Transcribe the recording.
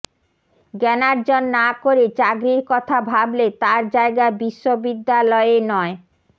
জ্ঞানার্জন না করে চাকরির কথা ভাবলে তার জায়গা বিশ্ববিদ্যালয়ে নয়